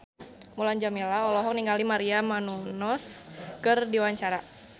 Mulan Jameela olohok ningali Maria Menounos keur diwawancara